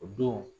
O don